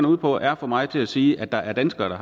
ude på er at få mig til at sige at der er danskere